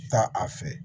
Taa a fɛ